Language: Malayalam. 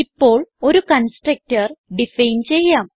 ഇപ്പോൾ ഒരു കൺസ്ട്രക്ടർ ഡിഫൈൻ ചെയ്യാം